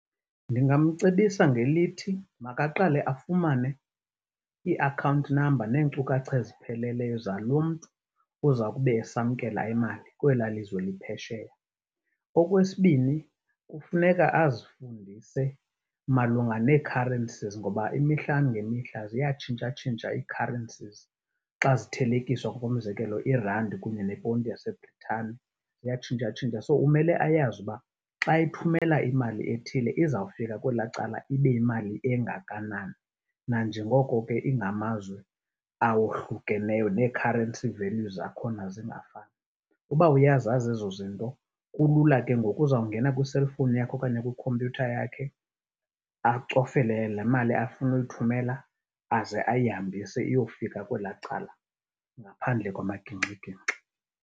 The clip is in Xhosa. Ndingamcebisa ngelithi makaqale afumane ii-account number neenkcukacha ezipheleleyo zalo mntu uza kube esamkela imali kwelaa lizwe liphesheya. Okwesibini, kufuneka azifundise malunga nee-currencies ngoba imihla ngemihla ziyatshintshatshintsha ii-currencies. Xa zithelekiswa ngokomzekelo irandi kunye neponti yaseBrithani ziyatshintshatshintsha, so umele ayazi uba xa ethumela imali ethile, izawufika kwelaa cala ibe yimali engakanani. Nanjengoko ke ingamazwe awohlukeneyo nee-currency values zakhona zingafani, uba uyazazi ezo zinto kulula ke ngoku, uzawungena kwi-cellphone yakhe okanye kwikhompyutha yakhe acofe le mali afuna uyithumela aze ayihambise iyofika kwelaa cala ngaphandle kwamagingxigingxi.